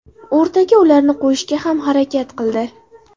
O‘rtaga ularni qo‘yishga ham harakat qildi.